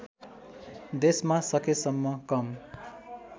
देशमा सकेसम्म कम